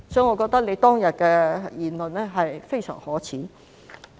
我覺得她當天的言論非常可耻。